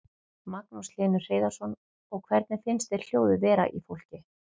Magnús Hlynur Hreiðarsson: Og hvernig finnst þér hljóðið vera í fólki?